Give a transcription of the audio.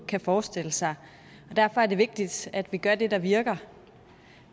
kan forestille sig og derfor er det vigtigt at vi gør det der virker